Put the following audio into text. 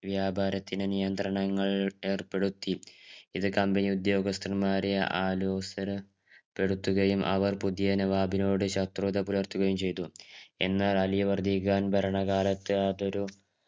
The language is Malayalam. വ്യാപാരത്തിന് നിയന്ത്രണങ്ങൾ ഏർപ്പെടുത്തി ഇത് company ഉദ്യോഗസ്ഥന്മാരെ അലോസരപ്പെടുത്തുകയും അവർ പുതിയ നവാബ് നോട് ശത്രുത പുലർത്തുകയും ചെയ്തു എന്നാൽ അലിവർദ്ധി ഖാൻ ഭരണ കാലത്തു അതൊരു